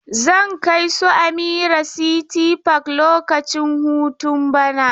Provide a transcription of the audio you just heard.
Zan kai su Amira City park lokacin hutu bana.